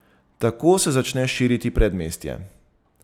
Tako se začne širiti predmestje.